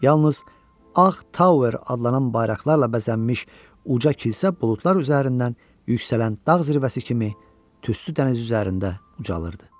Yalnız Ağ Tower adlanan bayraqlarla bəzənmiş uca kilsə buludlar üzərindən yüksələn dağ zirvəsi kimi tüstü dənizi üzərində ucalırdı.